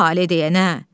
Tale deyənə.